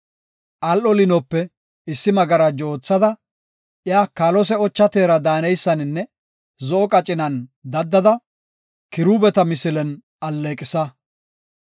“Al7o liinope issi magarajo oothada, iya kaalose, ocha teera daaneysaninne zo7o qacinan daddada kiruubeta misilen alleeqisa.